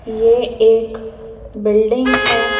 ये एक बिल्डिंग है।